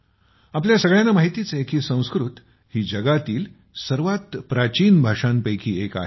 आपल्या सगळ्यांना माहितीच आहे की संस्कृत ही जगातील सर्वात प्राचीन भाषांपैकी एक आहे